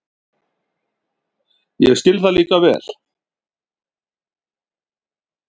Ég skil það líka vel.